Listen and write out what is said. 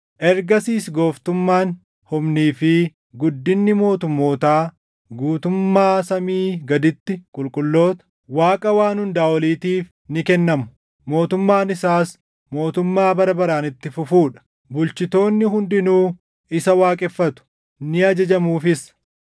Ergasiis gooftummaan, humnii fi guddinni mootummootaa guutummaa samii gaditti qulqulloota, Waaqa Waan Hundaa Oliitiif ni kennamu. Mootummaan isaas mootummaa bara baraan itti fufuu dha; bulchitoonni hundinuu isa waaqeffatu; ni ajajamuufis.’